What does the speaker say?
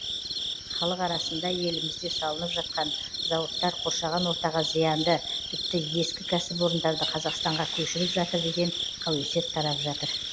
халық арасында елімізде салынып жатқан зауыттар қоршаған ортаға зиянды тіпті ескі кәсіпорындарды қазақстанға көшіріп жатыр деген қауесет тарап жатыр